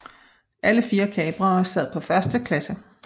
Alle fire kaprere sad på første klasse